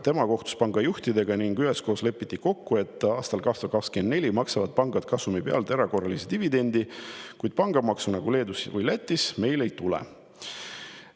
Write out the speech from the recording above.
Tema kohtus pangajuhtidega ning üheskoos lepiti kokku, et aastal 2024 maksavad pangad kasumi pealt erakorralist dividendi, kuid pangamaksu nagu Leedus või Lätis meil ei tule.